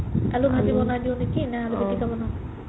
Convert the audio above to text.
আলু ভাজিকে বনাই দিও নেকি নে পিতিকা বনাম?